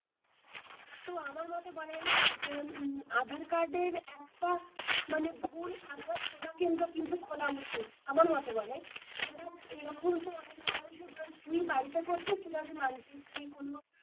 তো আমার মোটা বলে জানিস তো আধার কার্ড এর একটা ভুল আধার সেবা কেন্দ্র কিন্তু খোলা উচিত আমার মতে বলে আমরা এই রকম তো অনেক মানুষ ই তুই বাড়িতে করছিস মানছি তুই কোনো,